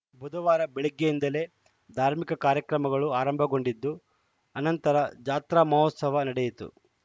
ಬುಧವಾರ ಬೆಳಗ್ಗೆಯಿಂದಲೇ ಧಾರ್ಮಿಕ ಕಾರ್ಯಕ್ರಮಗಳು ಆರಂಭಗೊಂಡಿದ್ದು ಅನಂತರ ಜಾತ್ರಾ ಮಹೋತ್ಸವ ನಡೆಯಿತು